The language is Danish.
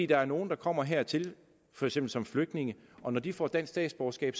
der er nogle der kommer hertil for eksempel som flygtninge og når de får dansk statsborgerskab